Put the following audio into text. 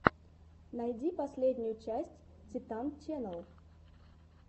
найди последнюю часть титан ченнал